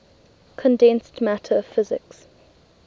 condensed matter physics